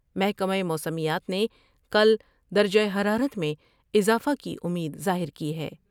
محکمہ موسمیات نے کل درجہ حرارت میں اضافہ کی امید ظاہر کی ہے ۔